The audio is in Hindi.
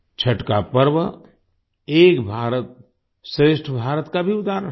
छठ का पर्व एक भारतश्रेष्ठ भारत का भी उदाहरण है